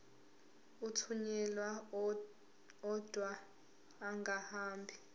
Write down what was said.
athunyelwa odwa angahambi